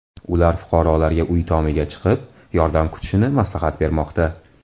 Ular fuqarolarga uy tomiga chiqib, yordam kutishni maslahat bermoqda.